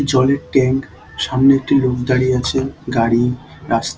জলের ট্যাংক । সামনে একটি লোক দাঁড়িয়ে আছেন। গাড়ি রাস--